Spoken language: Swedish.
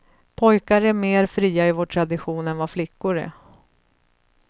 Pojkar är mer fria i vår tradition än vad flickor är.